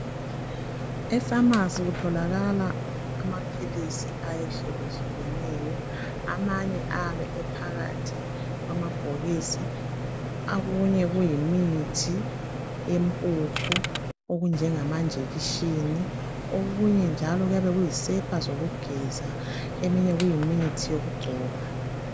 Emafamasi kutholakala amaphilisi ayehluyehlukeyeyo, amanye ayabe ephakathi kwamabhokisi, okunye kuyimithi yempuphu, okunjengama njekishini, okunye njalo kuyabe kuyisepa zokugeza, eminye kuyimithi yokugcoba